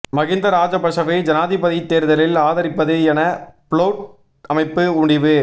மகிந்த ராஜபக்ஷவை ஜனாதிபதித் தேர்தலில் ஆதரிப்பது என புளொட் அமைப்பு முடிவு